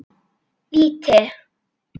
Víti!